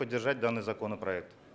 поддержать данный законопроект